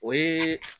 O ye